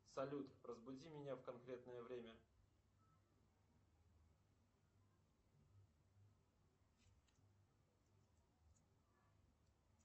салют разбуди меня в конкретное время